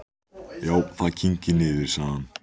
Já, það kyngir niður, sagði hann.